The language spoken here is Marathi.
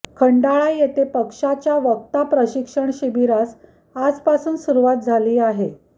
खंडाळा येथे पक्षाच्या वक्ता प्रशिक्षण शिबिरास आजपासून सुरुवात झाली आहे